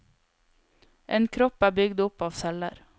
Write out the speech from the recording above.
En kropp er bygd opp av celler.